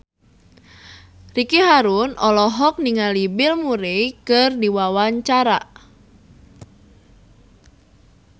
Ricky Harun olohok ningali Bill Murray keur diwawancara